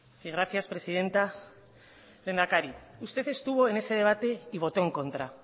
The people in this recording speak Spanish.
sí gracias presidenta lehendakari usted estuvo en ese debate y votó en contra